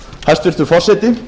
hæstvirtur forseti